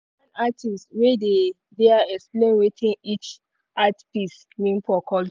one artist wey dey there explain wetin each art piece mean for culture.